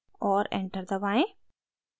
और enter दबाएं